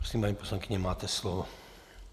Prosím, paní poslankyně, máte slovo.